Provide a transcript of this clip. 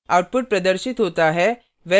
output प्रदर्शित होता है